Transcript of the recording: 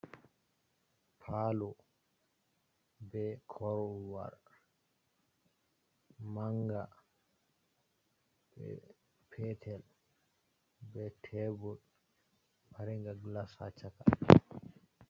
Palo be corwar, manga Peter be tebul maringa glas ha caka.